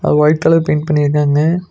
அ white colour paint பண்ணிருக்காங்க.